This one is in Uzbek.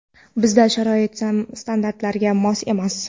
Bizda sharoit standartlarga mos emas.